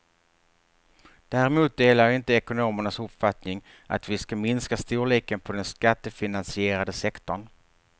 Däremot delar jag inte ekonomernas uppfattning att vi ska minska storleken på den skattefinansierade sektorn.